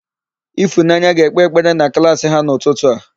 Ịfụnanya ga-ekpe ekpere na klaasị ha n'ụtụtụ a.